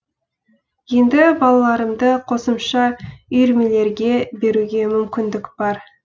енді балаларымды қосымша үйірмелерге беруге мүмкіндік бар